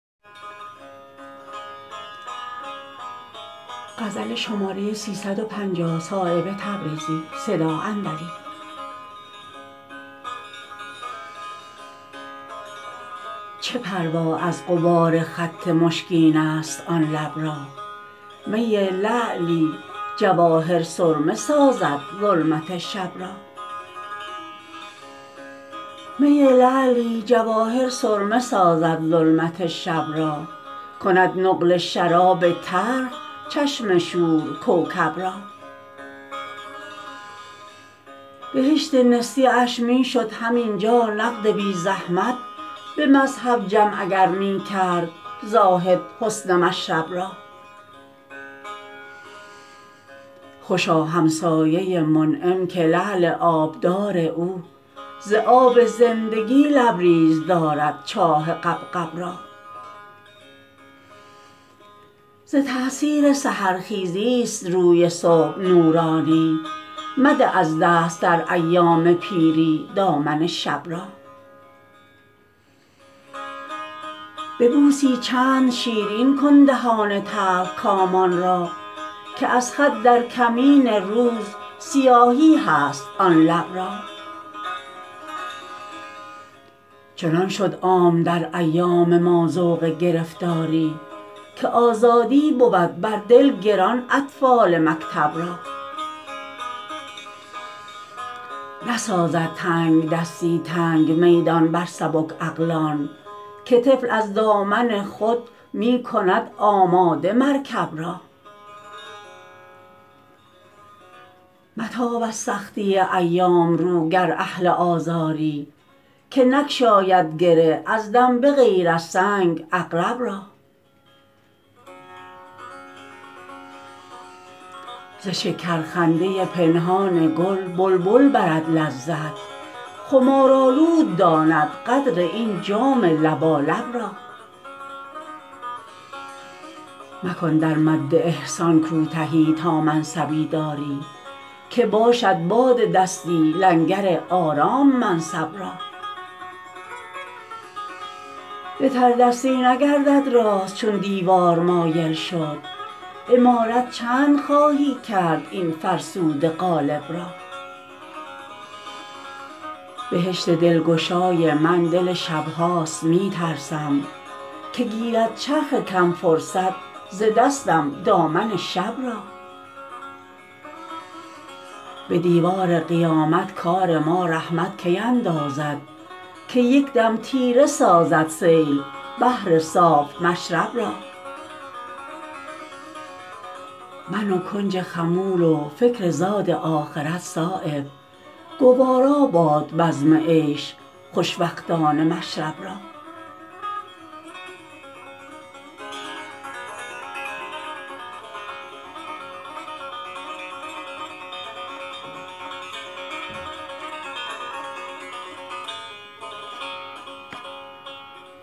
چه پروا از غبار خط مشکین است آن لب را می لعلی جواهر سرمه سازد ظلمت شب را می لعلی جواهر سرمه سازد ظلمت شب را کند نقل شراب تلخ چشم شور کوکب را بهشت نسیه اش می شد همین جا نقد بی زحمت به مذهب جمع اگر می کرد زاهد حسن مشرب را خوشا همسایه منعم که لعل آبدار او ز آب زندگی لبریز دارد چاه غبغب را ز تأثیر سحرخیزی است روی صبح نورانی مده از دست در ایام پیری دامن شب را به بوسی چند شیرین کن دهان تلخکامان را که از خط در کمین روز سیاهی هست آن لب را چنان شد عام در ایام ما ذوق گرفتاری که آزادی بود بر دل گران اطفال مکتب را نسازد تنگدستی تنگ میدان بر سبک عقلان که طفل از دامن خود می کند آماده مرکب را متاب از سختی ایام رو گر اهل آزاری که نگشاید گره از دم به غیر از سنگ عقرب را ز شکر خنده پنهان گل بلبل برد لذت خمارآلود داند قدر این جام لبالب را مکن در مد احسان کوتهی تا منصبی داری که باشد باد دستی لنگر آرام منصب را به تردستی نگردد راست چون دیوار مایل شد عمارت چند خواهی کرد این فرسوده قالب را بهشت دلگشای من دل شبهاست می ترسم که گیرد چرخ کم فرصت ز دستم دامن شب را به دیوان قیامت کار ما رحمت کی اندازد که یک دم تیره سازد سیل بحر صاف مشرب را من و کنج خمول و فکر زاد آخرت صایب گوارا باد بزم عیش خوش وقتان مشرب را